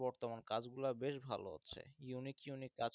বর্তমান কাজগুলা বেশ ভালো হচ্ছে, unique unique